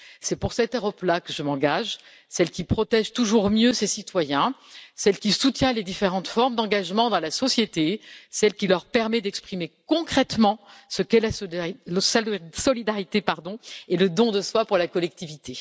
C'est pour cette Europe là que je m'engage, celle qui protège toujours mieux ses citoyens, celle qui soutient les différentes formes d'engagement dans la société, celle qui leur permet d'exprimer concrètement ce qu'est la solidarité et le don de soi pour la collectivité.